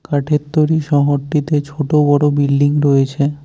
কাঠের তৈরি শহরটিতে ছোট বড় বিল্ডিং রয়েছে।